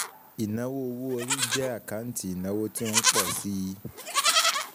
Ìnáwó owó-orí jẹ́ àkáǹtì ìnáwó tí ó ń pọ̀ síi